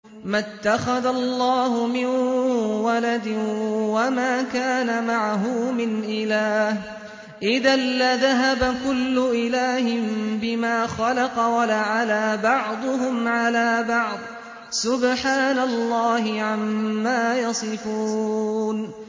مَا اتَّخَذَ اللَّهُ مِن وَلَدٍ وَمَا كَانَ مَعَهُ مِنْ إِلَٰهٍ ۚ إِذًا لَّذَهَبَ كُلُّ إِلَٰهٍ بِمَا خَلَقَ وَلَعَلَا بَعْضُهُمْ عَلَىٰ بَعْضٍ ۚ سُبْحَانَ اللَّهِ عَمَّا يَصِفُونَ